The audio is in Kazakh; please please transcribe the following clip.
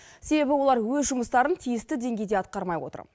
себебі олар өз жұмыстарын тиісті деңгейде атқармай отыр